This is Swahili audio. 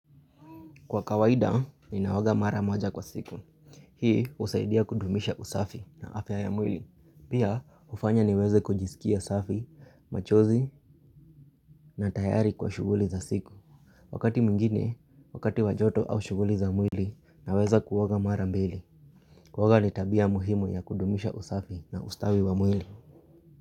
Kwa kawaida ninaoga mara moja kwa siku. Hii husaidia kudumisha usafi na afya ya mwili. Pia hufanya niweze kujisikia safi, machozi na tayari kwa shughuli za siku. Wakati mwingine, wakati wa joto au shughuli za mwili naweza kuoga mara mbili. Kuoga ni tabia muhimu ya kudumisha usafi na ustawi wa mwili.